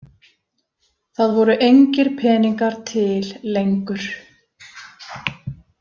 Það voru engir peningar til lengur.